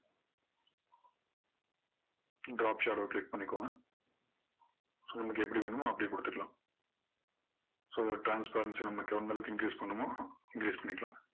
drop shadow click பண்ணிக்கோங்க so நமக்கு எப்படி வேணுமோ அப்படியே கொடுத்துக்கலாம் so இதோட transparency நமக்கு எந்த அளவுக்கு increase பண்ணணுமோ increase பண்ணிக்கலாம்